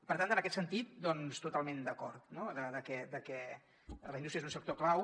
per tant en aquest sentit doncs totalment d’acord no que la indústria és un sector clau